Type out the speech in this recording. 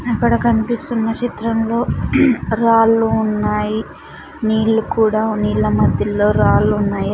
అక్కడ కన్పిస్తున్న చిత్రంలో రాళ్లు ఉన్నాయి నీళ్లు కూడా నీళ్ళ మధ్యల్లో రాళ్లున్నాయి.